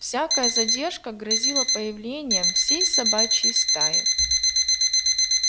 всякая задержка грозила появлением всей собачьей стаи